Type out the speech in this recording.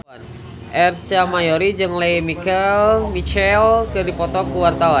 Ersa Mayori jeung Lea Michele keur dipoto ku wartawan